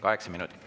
Kaheksa minutit.